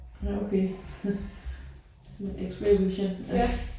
Ja okay noget x-ray vision